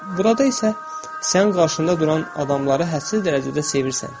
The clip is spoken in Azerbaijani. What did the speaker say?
Burada isə sən qarşında duran adamları həssas dərəcədə sevirsən.